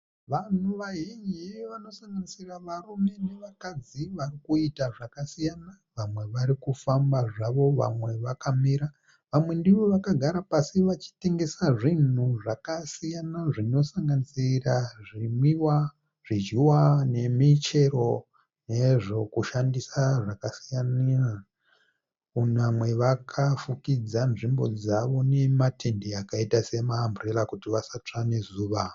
Vanhu vazhinji vanosanganisira varume nevakadzi varikuita zvakasiyana vamwe vari kufamba zvavo vamwe vakamira vamwe ndivo vakagara pasi vachitengesa zvinhu zvakasiyana zvinosanganisira zvinwiwa zvidyiwa nemichero nezvokushandisa zvakasiyana vamwe vakafukidza nzvimbo dzavo nematende akaita sema amburera kuti vasatsva nezuva.